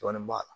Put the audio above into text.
Dɔɔnin b'a la